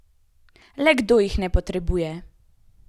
Le kdo jih ne potrebuje?